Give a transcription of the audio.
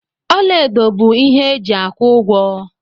Ọla edo bụ ihe eji aku ụgwọ.